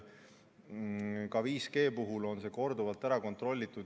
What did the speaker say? Ka 5G puhul on seda korduvalt kontrollitud.